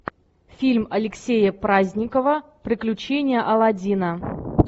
фильм алексея праздникова приключения алладина